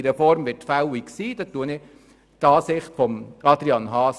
Diesbezüglich teile ich die Ansicht von Grossrat Haas.